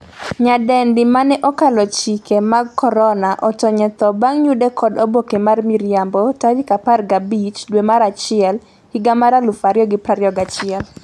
nyadendi mane 'okalo chike mag korona' otony e tho bang' yude kod oboke mar miriambo tarik 15 dwe mar achiel higa mar 2021